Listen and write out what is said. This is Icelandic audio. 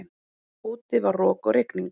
Úti var rok og rigning.